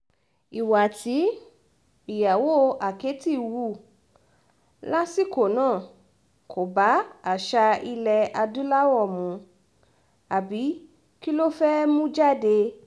ìwà tí ìyàwó àkẹ́tì hù lásìkò náà kò bá àṣà ilẹ̀ adúláwò mu àbí kí ló fẹ́ẹ̀ mú jáde